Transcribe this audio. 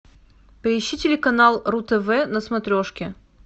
поищи телеканал ру тв на смотрешке